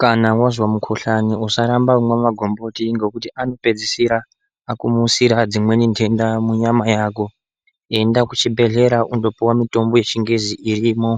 Kana wazwa mukhuhlani usaramba kumwa magomboti ngekuti anopedzisira, akumusira dzimweni nhenda munyama yako. Enda kuchibhehlera undopiwa mitombo yechingezi irimo